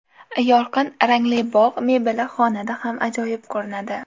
Yorqin rangli bog‘ mebeli xonada ham ajoyib ko‘rinadi.